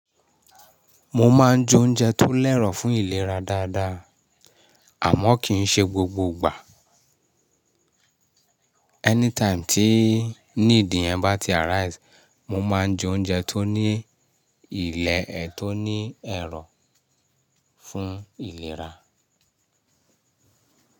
Mo máa ń je oúnjẹ tó lẹ̀rọ̀ fún ìlera dáadáa, àmọ́ kì í ṣe gbogbo ìgbà. Anytime tí need yẹn bá ti arise, mo máa ń je oúnjẹ tó ní ilẹ̀ ẹ tó ní ẹ̀rọ̀ fún ìlera.